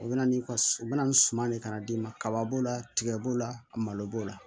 O bɛna ni ka u bɛ na ni suman de ka na d'i ma kaba b'o la tigɛ b'o la malo b'o la